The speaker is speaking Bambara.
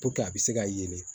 a bɛ se ka yelen